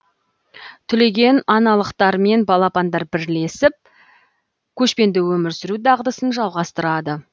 түлеген аналықтармен балапандар бірлесіп көшпенді өмір сүру дағдысын жалғастырады